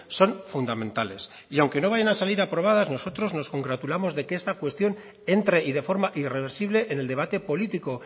son fundamentales y aunque no vayan a salir aprobadas nosotros nos congratulamos de que esta cuestión entre y de forma irreversible en el debate político